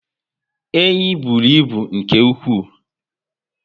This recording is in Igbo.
Enyi bụrụ ibu nke ụkwụ